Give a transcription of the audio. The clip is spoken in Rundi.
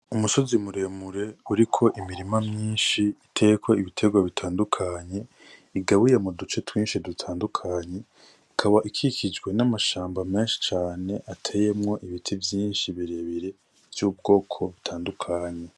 Umusozi muremure uriko imirima myinshi biteyeko ibiterwa bitandukanye igabuye muduce twinshi dutandukanye ikaba ikikuje n'amashamba menshi cane ateyemwo ibiti vyinshi birebire vy'ubwoko butandukanye.